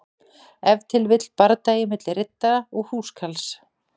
Ef til vill bardagi milli riddara og húskarls.